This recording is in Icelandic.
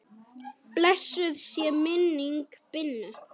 Blessuð sé minning Binnu.